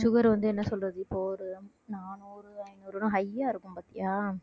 sugar வந்து என்ன சொல்றது இப்போ ஒரு நானூறு ஐநூறுன்னு high யா இருக்கும் பாத்தியா